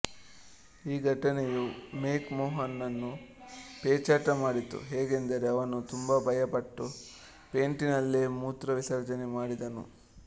ಈ ಘಟನೆಯು McMahon ನನ್ನು ಪೇಚಾಟ ಮಾಡಿತು ಹೇಗೆಂದರೆ ಅವನು ತುಂಬಾ ಭಯಪಟ್ಟು ಪೇಂಟಿನಲ್ಲೇ ಮೂತ್ರ ವಿಸರ್ಜನೆ ಮಾಡಿದನು